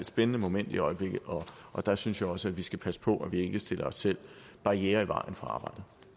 spændende moment i øjeblikket og der synes jeg også at vi skal passe på at vi ikke stiller os selv barrierer i vejen for